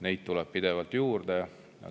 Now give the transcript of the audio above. Neid tuleb pidevalt juurde.